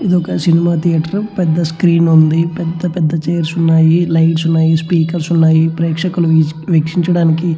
ఇది ఒక cinema theatre . పెద్ద స్క్రీన్ ఉంది. పెద్ద పెద్ద చైర్స్ ఉన్నాయ్. లైట్స్ ఉన్నాయి .స్పీకర్స్ ఉన్నాయ్. ప్రేక్షకులు మ్యూజిక్ వీక్షించడానికి--